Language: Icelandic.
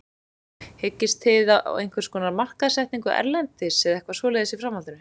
Hyggist þið á einhverskonar markaðssetningu erlendis eða eitthvað svoleiðis í framhaldinu?